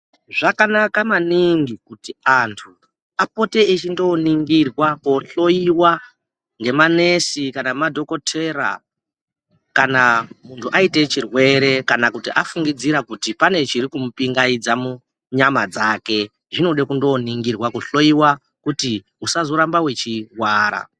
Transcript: Zvakana maningi kuti anthu apote echindoningirwa, kohloyiwa ngemanesi kana ngemadhokotera kana munthu aita chirwere kana afungidzira kuti pane chiri kumupingaidza munyama dzake, zvinoda kundoningirwa, kuhloyiwa kuti usazoramba wechirwara.